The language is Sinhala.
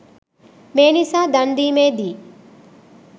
මේ නිසා දන් දීමේදී